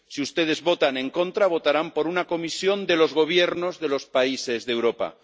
si ustedes votan en contra, votarán por una Comisión de los Gobiernos de los países de Europa.